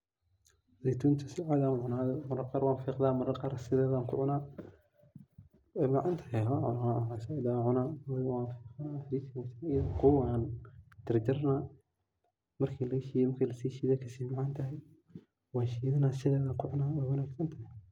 Zeytunka si cadhi ayan u cuna ,marar qaar wan fiqda. Wey macan tahay waliba zaid ayan u cuna ,iyadho qawow aan jarjarana ,marki lasi shido ay kasi macan tahay ,washidana sidedan ku cuna wey wanagsantahay.